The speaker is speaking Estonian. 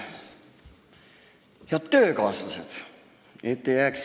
Head töökaaslased!